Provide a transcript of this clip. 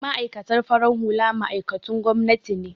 Ma'aikatan farin hula ma'aikatun gwamnati ne